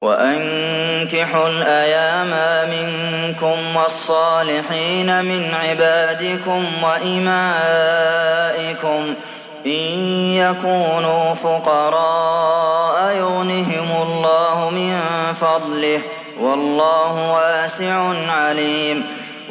وَأَنكِحُوا الْأَيَامَىٰ مِنكُمْ وَالصَّالِحِينَ مِنْ عِبَادِكُمْ وَإِمَائِكُمْ ۚ إِن يَكُونُوا فُقَرَاءَ يُغْنِهِمُ اللَّهُ مِن فَضْلِهِ ۗ وَاللَّهُ وَاسِعٌ عَلِيمٌ